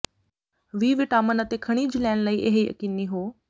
ਵੀ vitamin ਅਤੇ ਖਣਿਜ ਲੈਣ ਲਈ ਇਹ ਯਕੀਨੀ ਹੋ